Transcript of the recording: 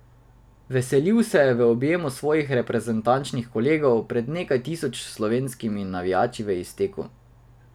Veselil se je v objemu svojih reprezentančnih kolegov pred nekaj tisoč slovenskimi navijači v izteku.